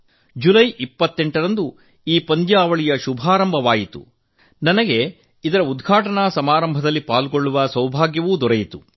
July 28 ರಂದು ಈ ಪಂದ್ಯಾವಳಿಯ ಶುಭಾರಂಭವಾಯಿತು ಮತ್ತು ನನಗೆ ಅದರ ಉದ್ಘಾಟನಾ ಸಮಾರಂಭದಲ್ಲಿ ಭಾಗವಹಿಸುವ ಸೌಭಾಗ್ಯ ದೊರಕಿತ್ತು